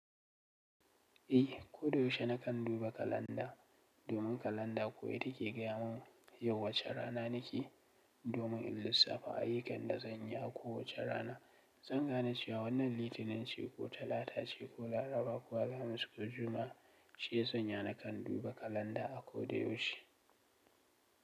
Eh, ko da yaushe nakan duba kalanda domin kalanda ko ita ke gaya mun yau wace rana nake. Domin in lissafa ayyukan da zan yi a ko wace rana. Zan gane cewa wannan Litinin ce ko Talata ce ko Laraba ko Alhamis ko Juma'a, shi ya sanya na kan duba kalanda a ko da yaushe.